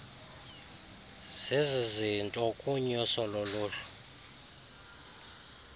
zizizinto kunyuso loluhlu